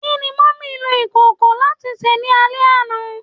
Kini Mummy lo ikoko lati se ni ale ana?